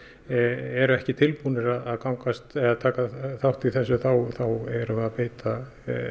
eru ekki tilbúnir að taka þátt í þessu þá erum við að beita